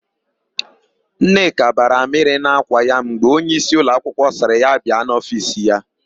Nneka bara amịrị n'ákwà ya mgbe onyeisi ụlọakwụkwọ sịrị ya bịa n'ofiisi ya.